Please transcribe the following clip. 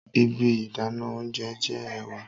Ibi idana ounjẹ jẹ ẹwà